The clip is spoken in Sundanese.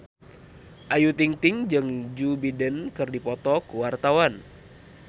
Ayu Ting-ting jeung Joe Biden keur dipoto ku wartawan